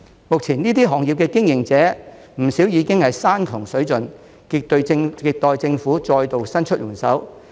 目前這些行業的經營者不少已經山窮水盡，亟待政府再度伸出援手。